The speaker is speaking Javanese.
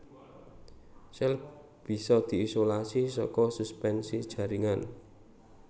Sèl bisa diisolasi saka suspensi jaringan